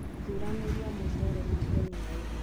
Thuranĩria mũcere makũniainĩ.